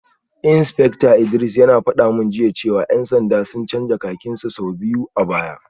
Insfekta Idris yana gaya mani jiya cewa ‘yan sanda sun canza kakin su sau biyu a baya